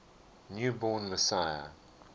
new born messiah